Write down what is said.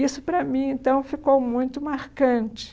Isso, para mim então, ficou muito marcante.